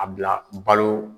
A bila balo